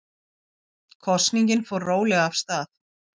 Kosningin fór rólega af stað